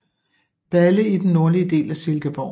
Balle i den nordlige del af Silkeborg